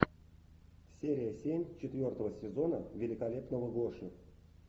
серия семь четвертого сезона великолепного гоши